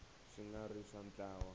swi nga ri swa ntlawa